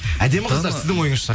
әдемі қыздар сіздің ойыңызша